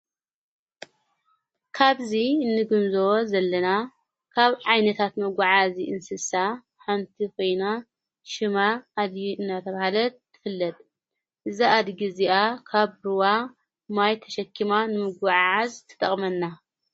ካብዙ እንግምዞወ ዘለና ካብ ዓይነታት መጕዓ እዙይ እንስሳ ሓንቲ ኮይና ሽማ ኣድጊ እናተብሃለት ትፍለድ ዛኣድጊ እዚኣ ካብ ሩዋ ማይ ተሸኪማ ንምጐዓዓዝ ትጠቕመና::